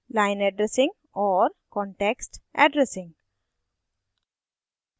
line addressing और context addressing